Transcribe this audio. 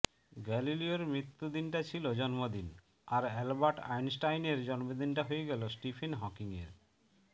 গালিলিয়োর মৃত্যুদিনটা ছিল জন্মদিন আর আলবার্ট আইনস্টাইনের জন্মদিনটা হয়ে গেল স্টিফেন হকিংয়ের